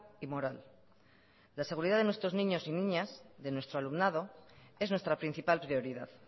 y moral la seguridad de nuestros niños y niñas de nuestro alumnado es nuestra principal prioridad